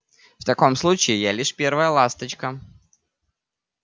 в таком случае я лишь первая ласточка